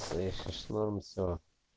слышишь норм все